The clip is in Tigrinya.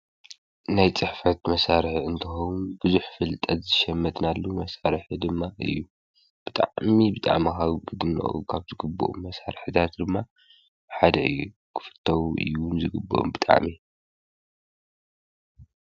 ናይ ጽሕፈት መሣርሐ እንተሆም ብዙኅ ፍልጠት ዝሸመትናሉ መሣርሐ ድማ እዩ ብጣሚ ብጣመሃዊ ብድናኡ ኻብ ዝግብኦም መሣርሕታት ድማ ሓደ ዪ ክፍቶዉ እውን ዝግብም ብጣሜ።